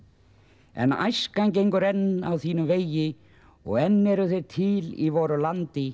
en æskan gengur enn á þínum vegi og enn eru þeir til í voru landi